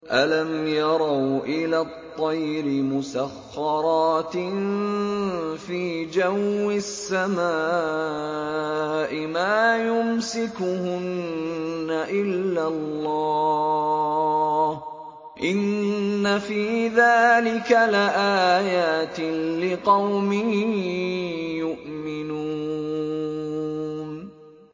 أَلَمْ يَرَوْا إِلَى الطَّيْرِ مُسَخَّرَاتٍ فِي جَوِّ السَّمَاءِ مَا يُمْسِكُهُنَّ إِلَّا اللَّهُ ۗ إِنَّ فِي ذَٰلِكَ لَآيَاتٍ لِّقَوْمٍ يُؤْمِنُونَ